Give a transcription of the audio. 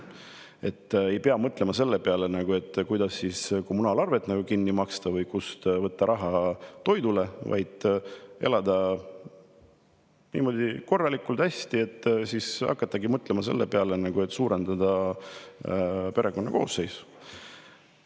Kui ei pea mõtlema sellele, kuidas kommunaalarved kinni maksta või kust võtta raha toidule, vaid saab elada korralikult, hästi, siis hakatakse mõtlema ka selle peale, et perekonna koosseisu suurendada.